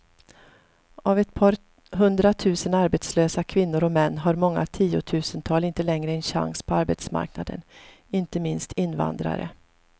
Av ett par hundratusen arbetslösa kvinnor och män har många tiotusental inte längre en chans på arbetsmarknaden, inte minst invandrare.